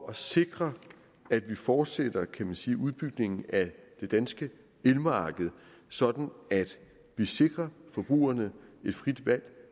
at sikre at vi fortsætter kan man sige udbygningen af det danske elmarked sådan at vi sikrer forbrugerne et frit valg